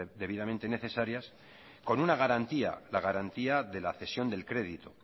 debidamente necesarias con una garantía la garantía de la cesión del crédito